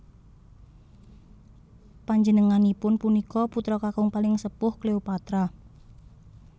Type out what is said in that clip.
Panjenengangipun punika putra kakung paling sepuh Cleopatra